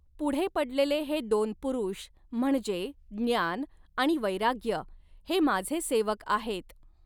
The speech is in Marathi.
पुढ़े पडलेले हे दोन पुरुष म्हणजे ज्ञान आणि वैराग्य, हे माझे सेवक आहेत.